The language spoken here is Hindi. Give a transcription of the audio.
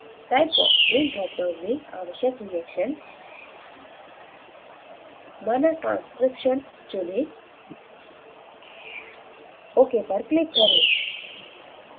type box के dropdown में आवश्यक reaction माना transcription चुनें ok पर click करें